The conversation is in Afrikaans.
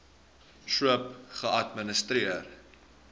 thrip geadministreer